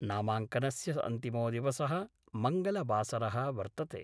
नामांकनस्य अन्तिमो दिवसः मंगलवासरः वर्तते।